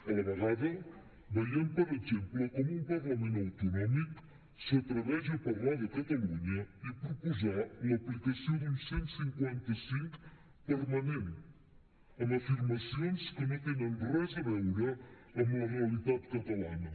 a la vegada veiem per exemple com un parlament autonòmic s’atreveix a parlar de catalunya i proposar l’aplicació d’un cent i cinquanta cinc permanent amb afirmacions que no tenen res a veure amb la realitat catalana